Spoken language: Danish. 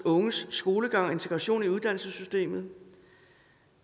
unges skolegang og integration i uddannelsessystemet